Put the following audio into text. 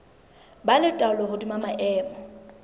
ba le taolo hodima maemo